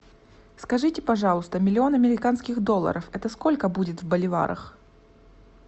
скажите пожалуйста миллион американских долларов это сколько будет в боливарах